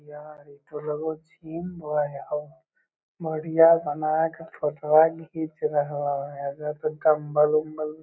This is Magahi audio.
यार इ तो लगे हेय जिम रहे बोडियां बनाय के फोटवा घींच रहलो ये एजा पर डम्बल उंब्बल --